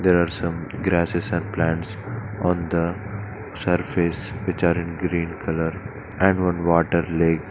There are some grasses and plants on the surface which are in green colour and one water lake.